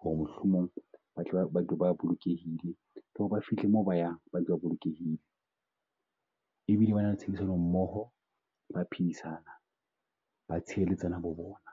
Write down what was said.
ho re mohlomong ba tle ba ba bolokehile. Ba fihle mo ba yang ba ntse ba bolokehile, e bile ba na le tshebedisano mmoho, ba phidisana, ba tshireletsana bo bona.